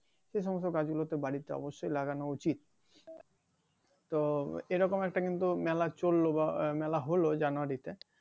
সে সমস্ত গাছগুলোতে বাড়ীতে অবশ্যই লাগানো উচিত তো এইরকম একটা কিন্তু মেলা চললো বা মেলা হলো জানুয়ারিতে